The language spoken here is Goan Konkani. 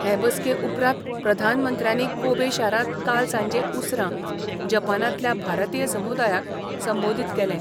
हे बसके उपरांत प्रधानमंत्र्यानी कोबे शारांत काल सांजें उसरां जपानांतल्या भारतीय समुदायाक संबोदीत केलें.